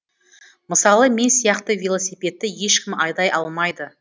мысалы мен сияқты велосипедті ешкім айдай алмайды